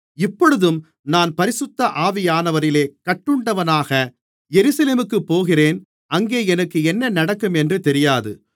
இப்பொழுதும் நான் பரிசுத்த ஆவியானவரிலே கட்டுண்டவனாக எருசலேமுக்குப் போகிறேன் அங்கே எனக்கு என்ன நடக்கும் என்று தெரியாது